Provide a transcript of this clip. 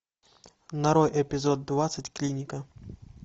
нарой эпизод двадцать клиника